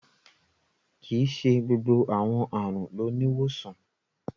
Kíí ṣè gbogbo awọn arùn ló ni ìwosàn.